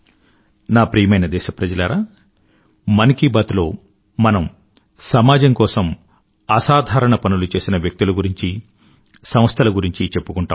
నా ప్రియమైన దేశప్రజలారా మన్ కీ బాత్ లో మనం సమాజం కోసం అసాధారణ పనులు చేసిన వ్యక్తుల గురించీ సంస్థల గురించీ చెప్పుకుంటాం